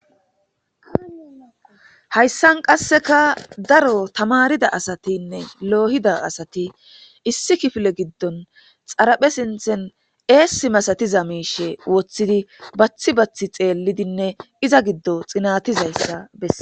hayssan qasseka daro tamarida asatinne loohida asati issi kifile giddon xaraphe sinthen eessi masatiza miishe woththidi bathi bathi xeellidinne iza giddo xinatizayssa besse